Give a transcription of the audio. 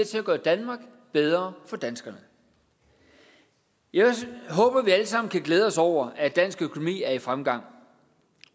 til at gøre danmark bedre for danskerne jeg håber vi alle sammen kan glæde os over at dansk økonomi er i fremgang